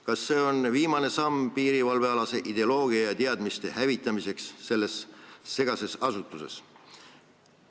Kas see on viimane samm piirivalvealase ideoloogia ja teadmiste hävitamiseks selles segases asutuses?